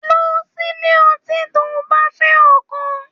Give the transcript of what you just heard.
Lọ sílé ọtí tó bá fẹ ọkàn.